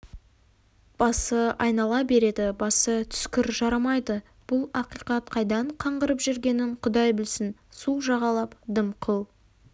басы айнала береді басы түскір жарамайды бұл ақиқат қайдан қаңғырып жүргенін құдай білсін су жағалап дымқыл